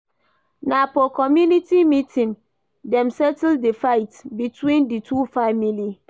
Na for community meeting dem settle di fight between di two family.